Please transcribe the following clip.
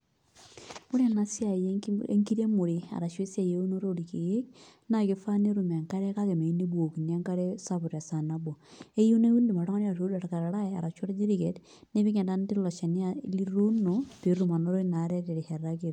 Ore ena siai enkiremore arashu esiai eunoto orkeek naa kifaa netum enkare kake meyieu nebukokini enkare sapuk tesaa nabo neeku keyieu niud oltung'ani orkarari arashu orkiriket nipik entanata iloshani lituuno pee etum anoto jna are tesaa nayieu.